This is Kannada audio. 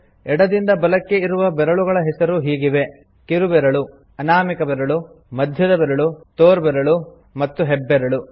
ಎಡದಿಂದ ಬಲಕ್ಕೆ ಇರುವ ಬೆರಳುಗಳ ಹೆಸರು ಹೀಗಿವೆ ಕಿರುಬೆರಳು ಅನಾಮಿಕ ಬೆರಳು ಮಧ್ಯದಬೆರಳು ತೋರ್ಬೆರಳು ಮತ್ತು ಹೆಬ್ಬೆರಳು